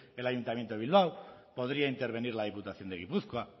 el ayuntamiento de bilbao podría intervenir la diputación de gipuzkoa